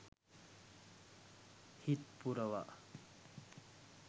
හිත් පුරවා